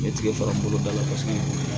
N ye tigɛ fara boloda la paseke